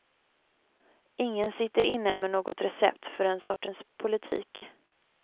Ingen sitter inne med något recept för den sortens politik.